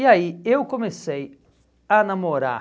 E aí eu comecei a namorar